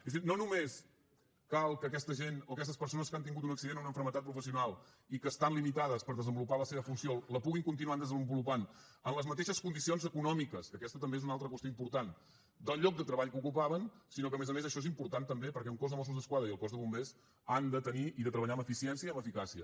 és a dir no només cal que aquesta gent o aquestes persones que han tingut un accident o una malaltia professional i que estan limitades per desenvolupar la seva funció la puguin continuar desenvolupant amb les mateixes condicions econòmiques que aquesta també és una altra qüestió important del lloc de treball que ocupaven sinó que a més a més això és important també perquè el cos de mossos d’esquadra i el cos de bombers han de tenir i de treballar amb eficiència i amb eficàcia